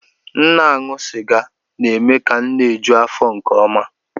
M na-aṅụ sịga na-eme ka m na-eju afọ nke ọma